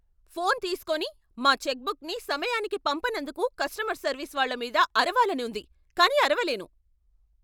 Phone తీస్కోని, మా చెక్బుక్ని సమయానికి పంపనందుకు కస్టమర్ సర్వీస్ వాళ్ళ మీద అరవాలని ఉంది కానీ అరవలేను.